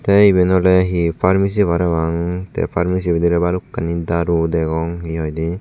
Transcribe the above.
tay iben ole hee pharmesi parapang tay pharmesi bidire balokkani daru degong hee hoide.